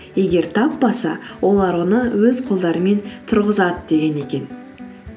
егер таппаса олар оны өз қолдарымен тұрғызады деген екен